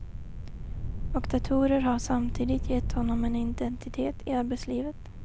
Och datorer har samtidigt gett honom en identitet i arbetslivet.